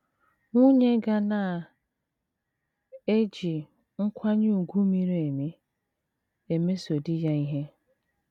Nwunye ga na - eji “ nkwanye ùgwù miri emi ” emeso di ya ihe.